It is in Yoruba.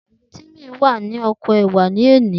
Timi wá ní oko ẹwà loni